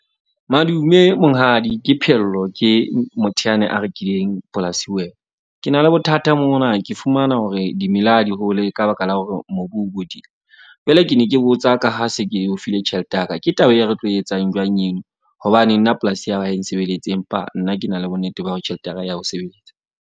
Madume, monghadi Ke Phehello. Ke motho yane a rekileng polasi ho wena. Ke na le bothata mona ke fumana hore dimela ha di hole ka baka la hore mobu o bodile. Jwale ke ne ke botsa ka ha se ke o file tjhelete ya ka. Ke taba e re tlo etsang jwang eno? Hobane nna polasi ya hao ha e nsebeletse, empa nna ke na le bonnete ba hore tjhelete ya ka ya o sebeletsa.